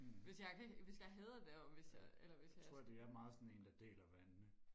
hm ja jeg tror det er meget sådan en der deler vandene